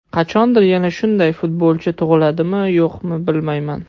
Qachondir yana shunday futbolchi tug‘iladimi, yo‘qmi bilmayman.